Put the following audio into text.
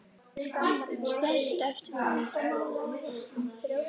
Stærstu eftir fjölda mála eru